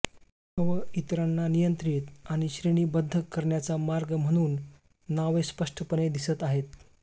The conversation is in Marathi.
हव इतरांना नियंत्रित आणि श्रेणीबद्ध करण्याचा मार्ग म्हणून नावे स्पष्टपणे दिसत आहे